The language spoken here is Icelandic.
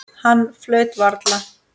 Hann flaut varla.